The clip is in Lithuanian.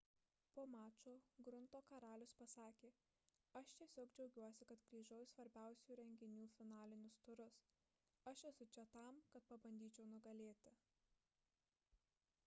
po mačo grunto karalius pasakė aš tiesiog džiaugiuosi kad grįžau į svarbiausių renginių finalinius turus aš esu čia tam kad pabandyčiau nugalėti